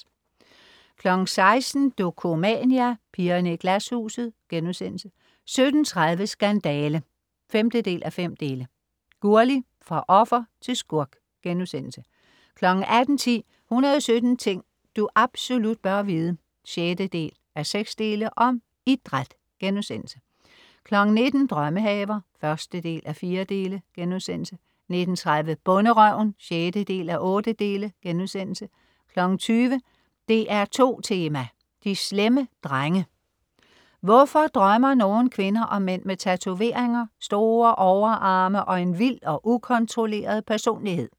16.00 Dokumania: Pigerne i Glashuset* 17.30 Skandale! 5:5. Gurli, fra offer til skurk* 18.10 117 ting du absolut bør vide 6:6. Om idræt* 19.00 Drømmehaver 1:4* 19.30 Bonderøven 6:8* 20.00 DR2 Tema: De slemme drenge. Hvorfor drømmer nogle kvinder om mænd med tatoveringer, store overarme og en vild og ukontrolleret personlighed?